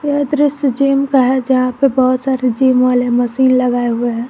यह दृश्य जिम का है जहां पे बहुत सारे जिम वाले मशीन लगाए हुए हैं।